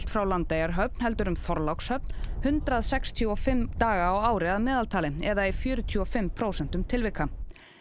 frá Landeyjahöfn heldur um Þorlákshöfn hundrað sextíu og fimm daga á ári að meðaltali eða í fjörutíu og fimm prósentum tilvika